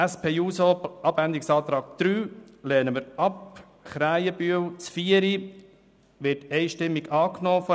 Die Planungserklärung 4 von Grossrat Krähenbühl wird von der SVP einstimmig angenommen.